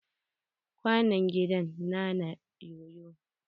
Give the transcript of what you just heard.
Kwanon gida na na yoyo.